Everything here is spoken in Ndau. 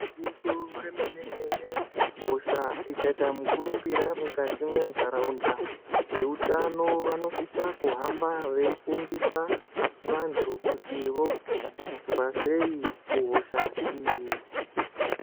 Gwinyiso remene menen hosha ikaita mukurumbira mukati mwentaraunda veutano vanosisa kuhamba veifundisa vantu kuti vodziirirwa sei kuhosha iyi .